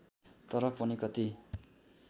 तर पनि कति